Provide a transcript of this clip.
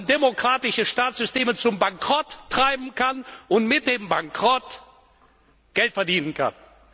demokratische Staatssysteme zum Bankrott treiben kann und mit dem Bankrott Geld verdienen kann.